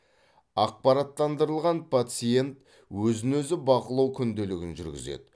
ақпараттандырылған пациент өзін өзі бақылау күнделігін жүргізеді